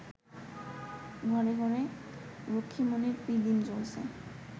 ঘরে ঘরে রক্ষ্মীমণির পিদিম জ্বলছে